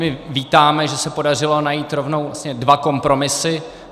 My vítáme, že se podařilo najít rovnou dva kompromisy.